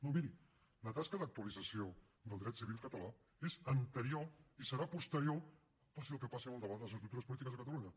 no miri la tasca d’actualització del dret civil català és anterior i serà posterior passi el que passi amb el debat de les estructures polítiques de catalunya